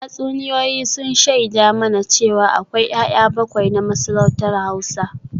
Tatsuniyoyi sun shaida mana cewa akwai ‘ya’ya bakwai na masarautar Hausa